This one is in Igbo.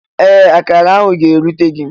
Ee! Akará ahụ ga-erute gị.